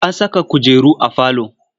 An saka kujeru a falo.